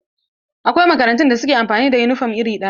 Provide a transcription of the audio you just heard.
Akwai makarantun da suke amfani da yunifom iri ɗaya.